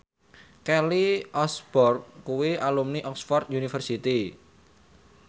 Kelly Osbourne kuwi alumni Oxford university